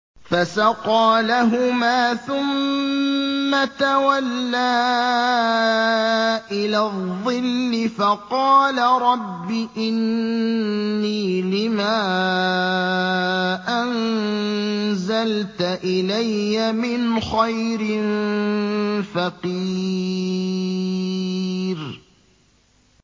فَسَقَىٰ لَهُمَا ثُمَّ تَوَلَّىٰ إِلَى الظِّلِّ فَقَالَ رَبِّ إِنِّي لِمَا أَنزَلْتَ إِلَيَّ مِنْ خَيْرٍ فَقِيرٌ